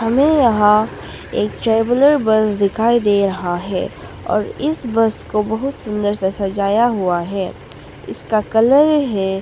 हमें यहां एक ट्रेवलर बस दिखाई दे रहा है और इस बस को बहुत सुंदर से सजाया हुआ है ईसका कलर है